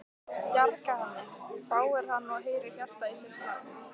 Bjarga henni? hváir hann og heyrir hjartað í sér slá.